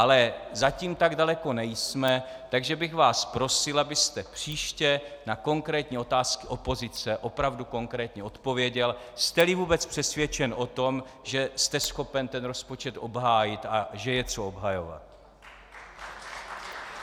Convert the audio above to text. Ale zatím tak daleko nejsme, takže bych vás prosil, abyste příště na konkrétní otázky opozice opravdu konkrétně odpověděl, jste-li vůbec přesvědčen o tom, že jste schopen rozpočet obhájit a že je co obhajovat.